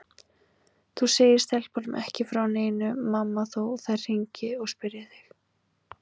Þú segir stelpunum ekki frá neinu mamma þó þær hringi og spyrji þig.